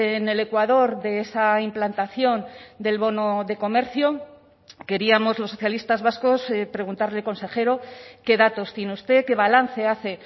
en el ecuador de esa implantación del bono de comercio queríamos los socialistas vascos preguntarle consejero qué datos tiene usted qué balance hace